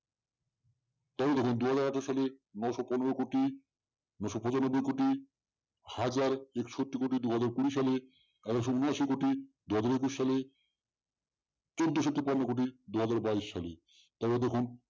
তাহলে দেখুন দু হাজার আঠারো-সালের নয়শ পনেরো কোটি দেড় কোটি হাজার একষট্টি কোটি দু হাজার কুড়ি -সালে একশ উনাশি কোটি দু হাজার একুশ সালে চৌদ্দোশ তিপ্পান্ন কোটি দু হাজার সালে বাইশ তাহলে দেখুন